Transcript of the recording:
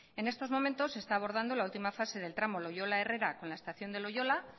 en estos momentos se está abordando la última fase del tramo loiola herrera con la estación de loiola